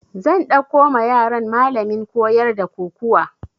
Zan ɗauko ma yaran malamin koyar da kokuwa